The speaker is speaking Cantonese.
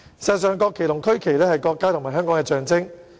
事實上，國旗和區旗是國家和香港的象徵。